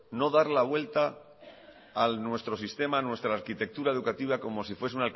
no dar la vuelta a nuestro sistema a nuestra arquitectura educativa como se fuese